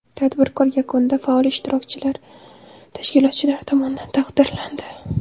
Tadbir yakunida faol ishtirokchilar tashkilotchilar tomonidan taqdirlandi.